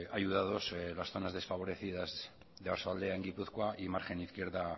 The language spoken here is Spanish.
ayudados las zonas desfavorecidas de oarsoaldea en gipuzkoa y margen izquierda